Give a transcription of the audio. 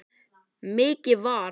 Mikið var.